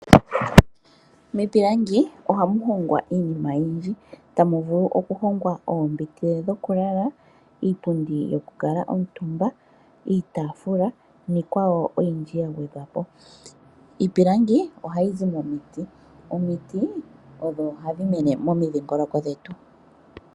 Miipilangi ohamu hongwa iinima oyindji, tamuvulu okuhongwa oombete dhokulala, iipundi yokukuutumbwa, iitaafula niikwawo oyindji yagwedhwapo. Iipilangi ohayi zi momiti, omiti odho hadhi mene momidhingoloko dhetu.